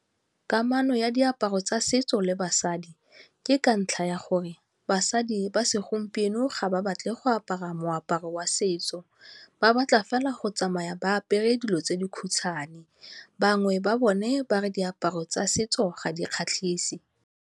Kamano ya diaparo tsa setso le basadi ke ka ntlha ya gore basadi ba segompieno ga ba batle go apara moaparo wa setso. Ba batla fela go tsamaya ba apere dilo tse di khutshwane, bangwe ba bone ba re diaparo tsa setso ga di kgatlhise.